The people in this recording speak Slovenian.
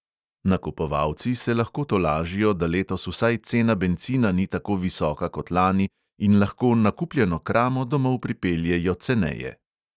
Nakupovalci se lahko tolažijo, da letos vsaj cena bencina ni tako visoka kot lani in lahko nakupljeno kramo domov pripeljejo ceneje.